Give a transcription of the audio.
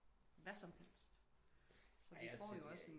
Hvad som helst så vi får jo også